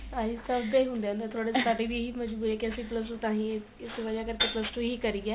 ਅਹਿ ਸਭ ਦੇ ਹੁੰਦੇ ਏ ਥੋੜੇ ਜੇ ਸਾਡੀ ਵੀ ਇਹੀ ਮਜਬੂਰੀ ਏ ਕੀ ਅਸੀਂ plus two ਤਾਹੀ ਇਸ ਵਜਾ ਕਰ ਕੇ plus two ਹੀ ਕਰੀ ਏ